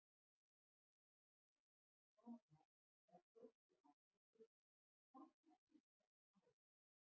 Síðar, sama dag, var Frosti aftur spurður, hvar fæddist þessi tala?